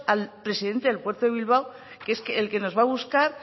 al presidente del puerto de bilbao que es el que nos va a buscar